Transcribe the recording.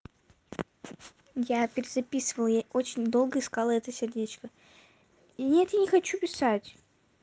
я перезаписывала я очень долго искала это сердечко и нет я не хочу писать